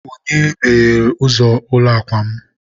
onye meghere ụzọ ụlọ akwa m?